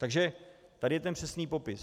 Takže tady je ten přesný popis.